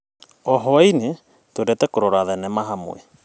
O hwainĩ, twendete kũrora thenema hamwe.